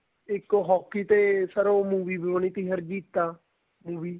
ਇੱਕ hockey ਤੇ sir ਉਹ movie ਵੀ ਬਣੀ ਥੀ ਹਰਜੀਤਾ movie